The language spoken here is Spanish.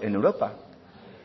en europa